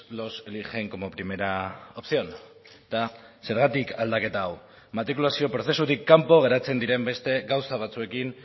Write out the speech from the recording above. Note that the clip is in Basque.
los eligen como primera opción eta zergatik aldaketa hau matrikulazio prozesutik kanpo geratzen diren beste gauza batzuekin